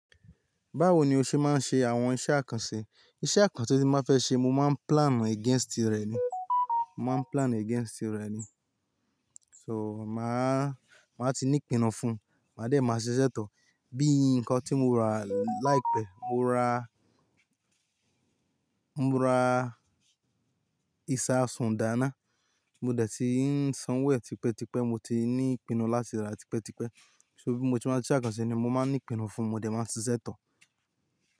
Báwo ni o ṣe máa ń ṣe àwọn iṣẹ́ àkànṣe? Iṣẹ́ àkànṣe tí mo máa fẹ́ ṣe mo máa ń plan against rẹ̀ ni, mo máa ń plan against rẹ̀ ni. So máà, máa ti ní ìpinnu fún un, màá dé máa ṣiṣẹ́ to. Bí nǹkan tí mo rà láìpẹ́, mo ra, mo ra ìṣà sùn dá náà, mo dẹ̀ tí ń san owo ẹ̀ tipẹ́ tipẹ́, mo ti ní ìpinnu láti rà tipẹ́ tipẹ́. So bí mo tí máa ṣe àkànṣe ni mo máa ń ní ìpinnu fún un, mo dé máa ṣiṣẹ́ to.